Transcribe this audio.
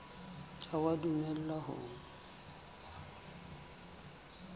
ha o a dumellwa ho